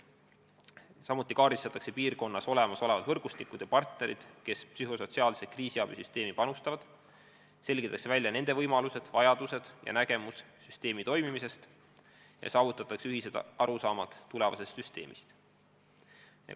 Samuti kaardistatakse piirkonnas olemas olevad võrgustikud ja partnerid, kes psühhosotsiaalse kriisiabi süsteemi panustavad, selgitatakse välja nende võimalused-vajadused ja ettekujutus süsteemi toimimisest, püüdes jõuda ühiste arusaamadeni tulevasest süsteemist.